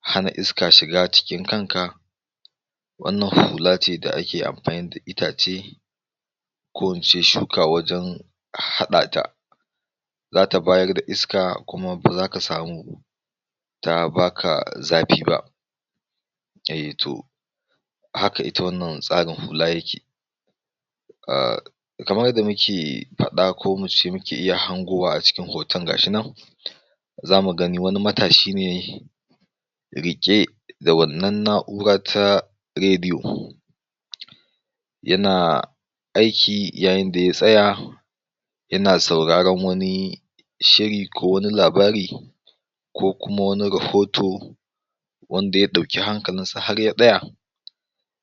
hana iska shiga cikin kanka wannan hulace da ake amfani da itace ko in ce shuka wajen haɗata. Za ta bayar da iska kuma za ka samu ba ta baka zafi ba, haka ita wannan tsarin hla yake. Ah kamar yadda muke faɗa ko ince muke iya hango a jikin wannan hoto ga shi can ya mu gan wani matashi ne riƙe da wannan na'ura ta rediyo yana aiki yayin da ya tsaya, yana sauraron shi ko wani labari ko kuma wani rahoto, wanda ya ɗauki hankalinsa har ya tsaya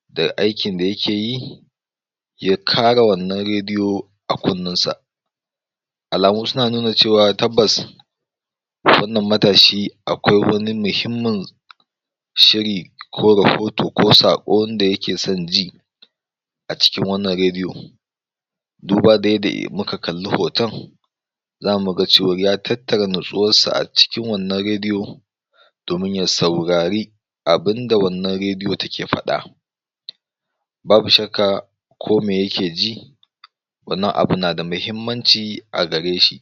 da aikin da yake yi ya kara wannan rediyo a kunnensa, alamu suna nuna cewa tabbas wannan matashi akwai wani muhimmin shiri ko rahoto ko saƙon da yake son ji a cikin wannan rediyo duba da yadda eh muka kalli hoton za mu ga cewar ya tattara natsuwarsa a cikin wannan rediyo domin ya saurari, abunda da wannan rediyo take faɗa Babu shakka ko me yake ji wannan abin na da muhimmanci a gare shi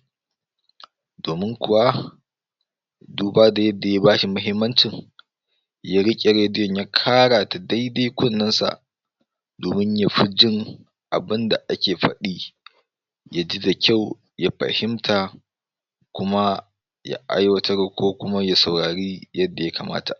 domin kuwa duba da yadda ya bashi muhimmancin ya riƙe rediyon ya kara ta daidai kunnensa domin ya fi jin abunda ake faɗe, ya ji da kyau ya fahimta, kuma ya aiwatar ko kuma ya saurari yanda ya kamata.